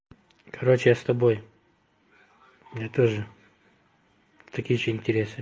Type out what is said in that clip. короче я с тобой у меня тоже такие же интересы